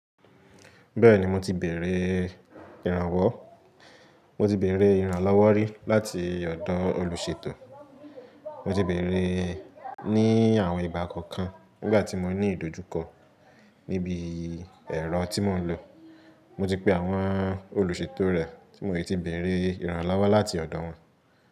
Bẹ́ẹ̀ni mo ti bèrè ìrànlọ́wọ́ rí láti ọ̀dọ̀ olùṣètò. Mo ti bèrè ní àwọn ìgbà kọ̀ọ̀kan nígbà tí mo ní ìdojúkọ níbi ẹ̀rọ tí mò ń lò. Mo ti pe àwọn olùṣètò rẹ tí mo ti bèrè ìrànlọ́wọ́ láti ọ̀dọ̀ wọn.